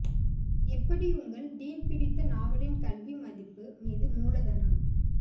எப்படி உங்கள் டீன் பிடித்த நாவலின் கல்வி மதிப்பு மீது மூலதனம்